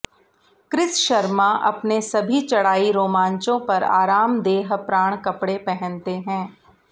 Chris Sharma अपने सभी चढ़ाई रोमांचों पर आरामदेह प्राण कपड़े पहनते हैं